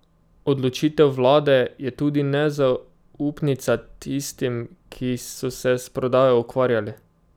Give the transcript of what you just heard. Odločitev vlade je tudi nezaupnica tistim, ki so se s prodajo ukvarjali.